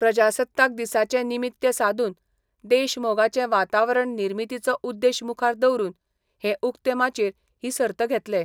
प्रजासत्ताक दिसाचे निमित्य सादून देश मोगाचे वातावरण निर्मितीचो उद्देश मुखार दवरून हे उक्ते माचयेर ही सर्त घेतले.